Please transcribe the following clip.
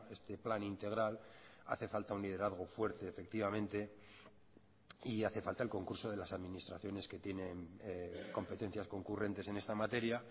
este plan integral hace falta un liderazgo fuerte efectivamente y hace falta el concurso de las administraciones que tienen competencias concurrentes en esta materia